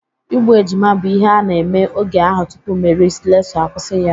Igbu ejima bụ ihe a na-eme oge ahụ tụpụ Meri Slesọ akwụsi ya.